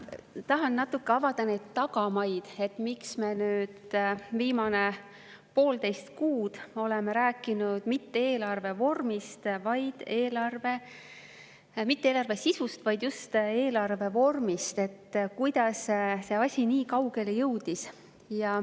Ma tahan natuke avada neid tagamaid, miks me oleme nüüd viimane poolteist kuud rääkinud mitte eelarve sisust, vaid just eelarve vormist ja sellest, kuidas see asi üldse on nii kaugele jõudnud.